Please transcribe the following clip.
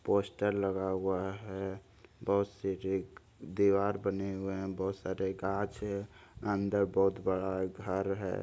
Poster लगा हुआ है बहुत से दीवार बने हुए है बहुत सारे गाछ है अंदर बहुत बड़ा घर है।